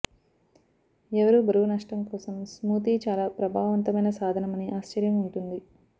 ఎవరూ బరువు నష్టం కోసం స్మూతీ చాలా ప్రభావవంతమైన సాధనం అని ఆశ్చర్యం ఉంటుంది